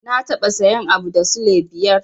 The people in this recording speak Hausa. Na taɓa sayan abu da sule biyar.